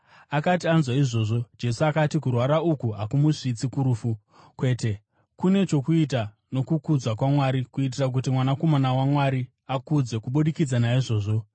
Akati anzwa izvozvo, Jesu akati, “Kurwara uku hakumusvitsi kurufu. Kwete, kune chokuita nokukudzwa kwaMwari kuitira kuti Mwanakomana waMwari akudzwe kubudikidza naizvozvo.”